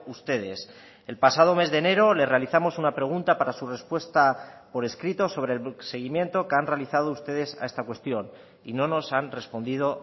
ustedes el pasado mes de enero le realizamos una pregunta para su respuesta por escrito sobre el seguimiento que han realizado ustedes a esta cuestión y no nos han respondido